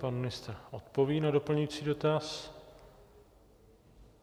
Pan ministr odpoví na doplňující dotaz.